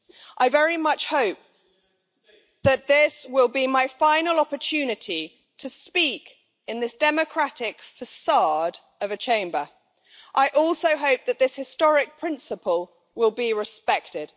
I very much hope that this will be my final opportunity to speak in this democratic façade of a Chamber. I also hope that this historic principle will be respected.